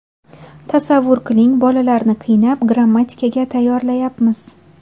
Tasavvur qiling, bolalarni qiynab, grammatikaga tayyorlayapmiz.